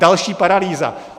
Další paralýza.